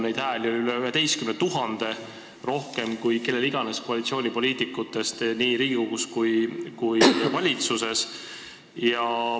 Neid hääli oli üle 11 000 – rohkem kui kellel iganes koalitsioonipoliitikutest nii Riigikogus kui ka valitsuses.